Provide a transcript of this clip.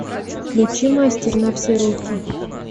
включи мастер на все руки